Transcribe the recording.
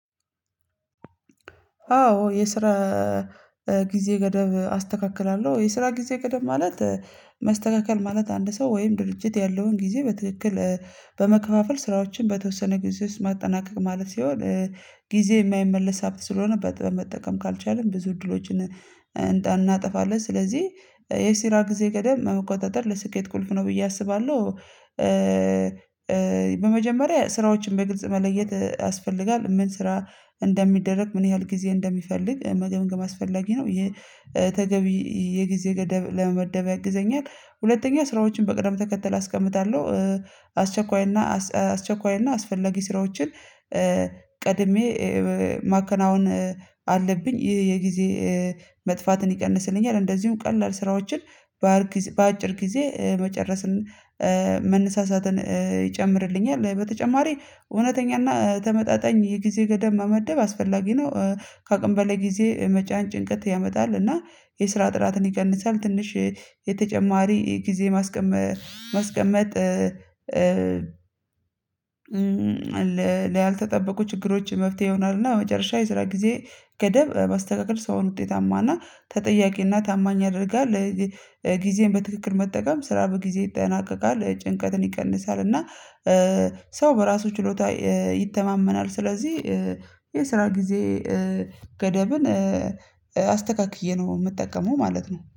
አዎ የስራ ጊዜ ገደብ አስተካክላለሁ። የስራ ጊዜ ገደብ ማለት መስተካከል ማለት አንድ ሰው ወይም ድርጅት ያለውን ጊዜ በትክክል በመከፋፈል ስራዎችን በተወሰነ ጊዜ ውስጥ ማጠናቀቅ ማለት ሲሆን ጊዜ የማይመለስ ሀብት ስለሆነ በመጠቀም ካልቻልን ብዙ እድሎችን እናጠፋለን ስለዚህ የሲራ ጊዜ ቀደም መቆጣጠር ለስኬት ቁልፍ ነው ብዬ አስባለሁ። በመጀመሪያ ስራዎችን በግልጽ መለየት ያስፈልጋል ምን ስራ እንደሚደረግ ምን ያህል ጊዜ እንደሚፈልግ መገምገም አስፈላጊ ነው። የተገቢ የጊዜ ገደብ ለመደበቅ ያግዘኛል። ሁለተኛ ስራዎችን በቅደም ተከተል አስቀምጣለሁ። አስቸኳይና አስቸኳይና አስፈላጊ ስራዎችን ቀድሜ ማከናወን አለብኝ የጊዜ መጥፋትን ይቀንስልኛል። እንደዚሁ ቀላል ስራዎችን ባር በአጭር ጊዜ መጨረስን መነሳሳትን ይጨምርልኛል። በተጨማሪ እውነተኛና ተመጣጣኝ የጊዜ ገደብ መመደብ አስፈላጊ ነው። ከአቅም በላይ ጊዜ መጫን ጭንቀት ያመጣል እና የስራ ጥራትን ይቀንሳል። ትንሽ ጊዜ ማስቀመጥ ለ ላልተጠበቁ ችግሮች መፍትሄ ይሆናልና መጨረሻ የስራ ጊዜ ገደብ ማስተቃቀል ሰውን ውጤታማና ተጠያቂ እና ታማኝ አድርጋለህ። ጊዜን በትክክል መጠቀም ስራ በጊዜ ይጠናቀቃል ጭንቀትን ይቀንሳል እና ሰው በራሱ ችሎታ ይተማመናል። ስለዚህ የስራ ጊዜ ገደብን አስተካክዬ ነው የምጠቀመው ማለት ነው